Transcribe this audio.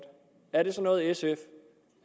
er det så noget sf